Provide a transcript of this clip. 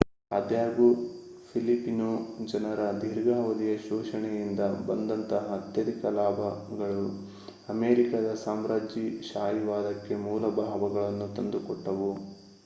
ಅದಾಗ್ಯೂ ಫಿಲಿಪಿನೊ ಜನರ ದೀರ್ಘಾವಧಿಯ ಶೋಷಣೆಯಿಂದ ಬಂದಂತಹ ಅತ್ಯಧಿಕ ಲಾಭಗಳು ಅಮೇರಿಕಾದ ಸಾಮ್ರಾಜ್ಯಶಾಹಿವಾದಕ್ಕೆ ಮೂಲ ಲಾಭಗಳನ್ನು ತಂದುಕೊಟ್ಟವು